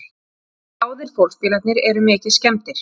Báðir fólksbílarnir eru mikið skemmdir